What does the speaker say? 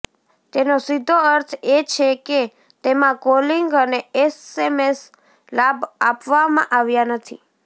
તેનો સીધો અર્થ એ છે કે તેમાં કોલિંગ અને એસએમએસ લાભ આપવામાં આવ્યાં નથી